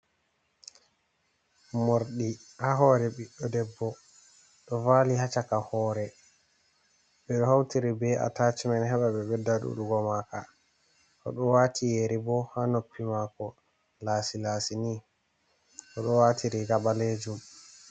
Morɗi haa hoore ɓiɗɗo debbo ɗo vaali haa caka hoore, ɓe ɗo hawtiri be atacmen heɓa ɓe ɓedda ɗuɗugo maaka,o ɗo waati yeri bo haa noppi maako laasi -laasi ni, o ɗo waati riga ɓaleejum.